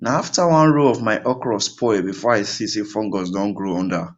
na after one row of my okra spoil before i see say fungus don grow under